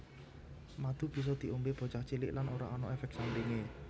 Madu bisa diombé bocah cilik lan ora ana éfék sampingé